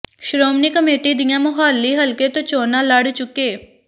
Shiromani committee ਦੀਆਂ ਮੋਹਾਲੀ ਹਲਕੇ ਤੋਂ ਚੋਣਾਂ ਲੜ ਚੁੱਕੇ